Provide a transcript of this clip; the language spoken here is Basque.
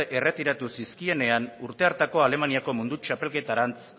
erretiratu zizkienean urte hartako alemaniako mundu txapelketarantz